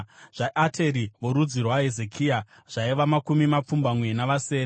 zvaAteri (vorudzi rwaHezekia) zvaiva makumi mapfumbamwe navasere;